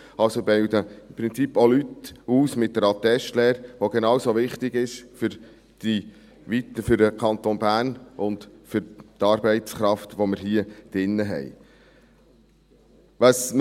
Sie bilden im Prinzip auch Leute aus mit der Attestlehre, die genau so wichtig ist, für den Kanton Bern und für die Arbeitskraft, die wir hier drin haben.